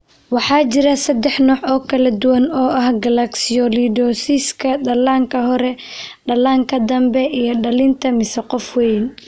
Waxaa jira saddex nooc oo kala duwan oo ah galactosialidosiska: dhallaanka hore, dhallaanka dambe iyo dhallinta mise qof weyn.